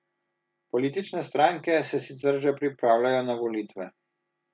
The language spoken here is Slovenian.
Politične stranke se sicer že pripravljajo na volitve.